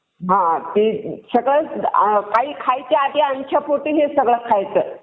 हम्म बरं